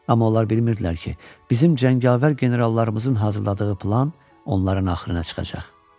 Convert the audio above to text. Amma onlar bilmirdilər ki, bizim cəngavər generallarımızın hazırladığı plan onların axırına çıxacaq.